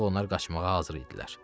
Artıq onlar qaçmağa hazır idilər.